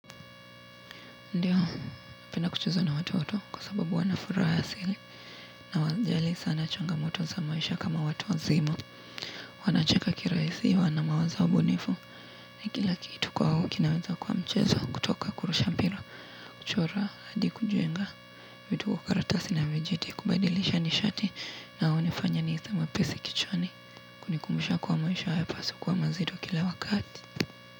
Ndiyo, napenda kucheza na watoto kwa sababu wana furaha asili. Na hawajali sana changamoto za maisha kama watu wazima. Wanacheka kirahisi wana mawazo bunifu. Ni kila kitu kwao kinaweza kuwa mchezo kutoka kurusha mpira. Kuchora hadi kujenga vitu kwa karatasi na vijiti kubadilisha nishati. Na hunifanya nihisi mwepesi kichwani kunikumbusha kuwa maisha hayapaswi kuwa mazito kila wakati.